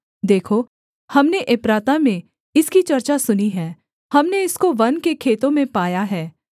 देखो हमने एप्राता में इसकी चर्चा सुनी है हमने इसको वन के खेतों में पाया है